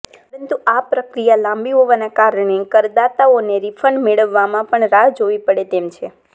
પરંતુ આ પ્રક્રિયા લાંબી હોવાના કારણે કરદાતાઓને રીફંડ મેળવવામાં પણ રાહ જોવી પડે તેમ છે